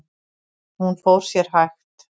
Hún fór sér hægt.